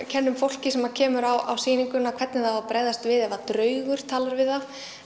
kennum fólki sem kemur á sýninguna hvernig það á að bregðast við ef draugur talar við það